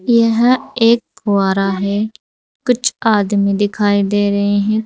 यह एक फुवारा है कुछ आदमी दिखाई दे रहे हैं।